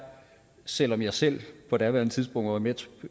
selv om jeg selv på daværende tidspunkt var med